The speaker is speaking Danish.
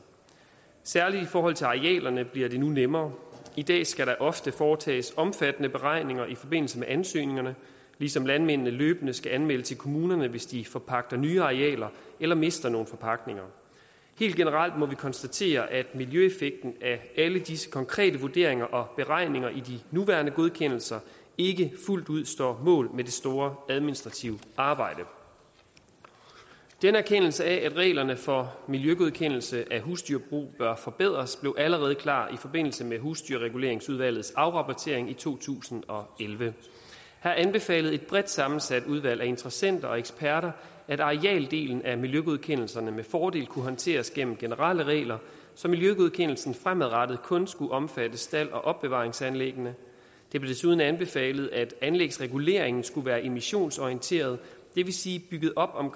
særlig i forhold til arealerne bliver det nu nemmere i dag skal der ofte foretages omfattende beregninger i forbindelse med ansøgningerne ligesom landmændene løbende skal anmelde til kommunerne hvis de forpagter nye arealer eller mister nogle forpagtninger helt generelt må vi konstatere at miljøeffekten af alle disse konkrete vurderinger og beregninger i de nuværende godkendelser ikke fuldt ud står mål med det store administrative arbejde denne erkendelse af at reglerne for miljøgodkendelse af husdyrbrug bør forbedres blev allerede klar i forbindelse med husdyrreguleringsudvalgets afrapportering i to tusind og elleve her anbefalede et bredt sammensat udvalg af interessenter og eksperter at arealdelen af miljøgodkendelserne med fordel kunne håndteres gennem generelle regler så miljøgodkendelsen fremadrettet kun skulle omfatte stalde og opbevaringsanlæg det blev desuden anbefalet at anlægsreguleringen skulle være emissionsorienteret det vil sige bygget op om